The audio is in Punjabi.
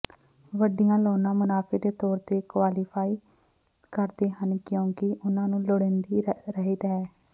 ਵੱਡੀਆਂ ਲਾਉਂਨਾਂ ਮੁਨਾਫੇ ਦੇ ਤੌਰ ਤੇ ਕੁਆਲੀਫਾਈ ਕਰਦੇ ਹਨ ਕਿਉਂਕਿ ਉਨ੍ਹਾਂ ਨੂੰ ਲੋੜੀਂਦੀ ਰਹਿਤ ਹੈ